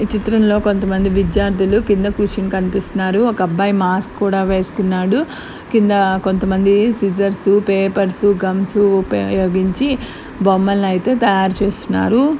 ఈ చిత్రంలో కొంతమంది విద్యార్థులు కింద కూర్చుని కనిపిస్తున్నారు. ఒక అబ్బాయి మాస్క్ కూడా వేసుకున్నాడు. కింద కొంతమంది సీజర్స్ పేపర్స్ గమ్స్ ఉపయోగించి బొమ్మలను అయితే తయారు చేస్తున్నారు.